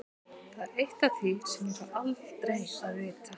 Það er eitt af því sem ég fæ aldrei að vita.